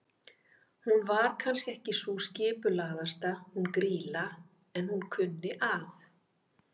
Hún var kannski ekki sú skipulagðasta hún Grýla, en hún kunni að.